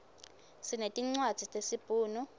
sinetincwadzi tesibhunu